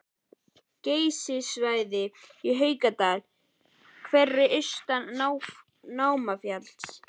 Geysissvæðið í Haukadal, Hverir austan Námafjalls